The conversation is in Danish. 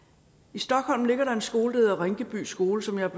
i stockholm ligger der en skole der hedder rinkeby skole som jeg